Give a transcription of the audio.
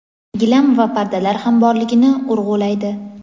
gilam va pardalar ham borligini urg‘ulaydi.